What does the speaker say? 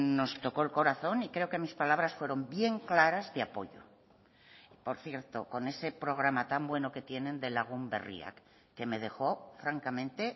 nos tocó el corazón y creo que mis palabras fueron bien claras de apoyo por cierto con ese programa tan bueno que tienen de lagun berriak que me dejó francamente